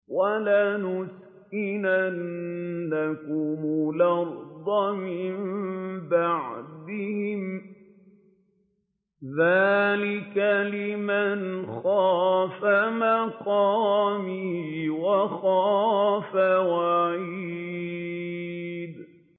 وَلَنُسْكِنَنَّكُمُ الْأَرْضَ مِن بَعْدِهِمْ ۚ ذَٰلِكَ لِمَنْ خَافَ مَقَامِي وَخَافَ وَعِيدِ